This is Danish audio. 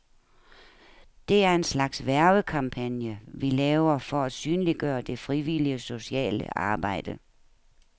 Det er en slags hvervekampagne, vi laver for at synliggøre det frivillige sociale arbejde.